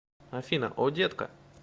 афина о детка